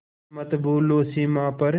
पर मत भूलो सीमा पर